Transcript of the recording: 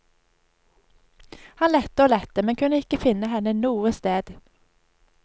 Han lette og lette men kunne ikke finne henne noe sted.